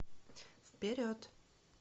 вперед